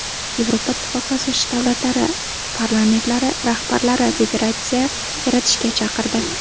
Yevropa Ittifoqi asoschi davlatlari parlamentlari rahbarlari federatsiya yaratishga chaqirdi.